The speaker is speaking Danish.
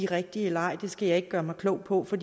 rigtige eller ej skal jeg ikke gøre mig klog på for